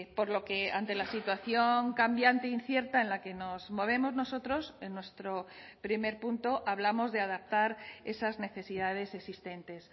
por lo que ante la situación cambiante incierta en la que nos movemos nosotros en nuestro primer punto hablamos de adaptar esas necesidades existentes